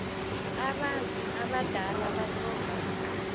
abantu abadala abatlhoga